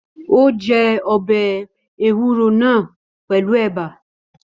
Ó jẹ ọbẹ̀ ewúro náà pẹlu ẹ̀bà